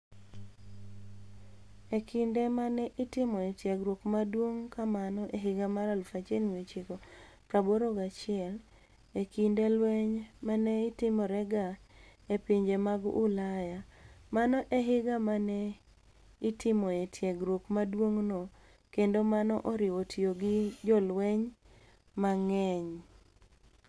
E kinide ma ni e itimoe tiegruok maduonig' kamano e higa mar 1981, e kinide lweniy ma ni e timorega e pinije mag Ulaya, mano e higa ma ni e itimoe tiegruok maduonig'no, kenido mano oriwo tiyo gi jolweniy manig'eniy.